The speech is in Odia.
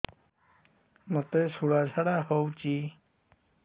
ମୋତେ ଶୂଳା ଝାଡ଼ା ହଉଚି